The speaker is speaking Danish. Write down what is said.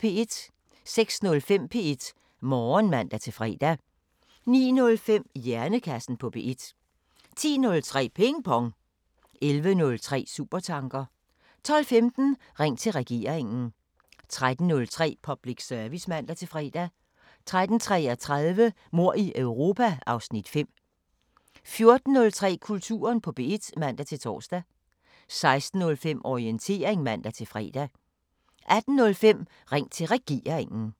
06:05: P1 Morgen (man-fre) 09:05: Hjernekassen på P1 10:03: Ping Pong 11:03: Supertanker 12:15: Ring til Regeringen 13:03: Public Service (man-fre) 13:33: Mord i Europa (Afs. 5) 14:03: Kulturen på P1 (man-tor) 16:05: Orientering (man-fre) 18:05: Ring til Regeringen